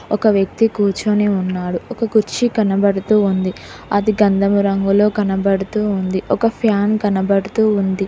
ఒక వ్యక్తి కూర్చోని ఉన్నాడు ఒక కుర్చీ కనబడుతూ ఉంది అది గంధము రంగులో కనబడుతూ ఉంది ఒక ఫ్యాన్ కనబడుతూ ఉంది.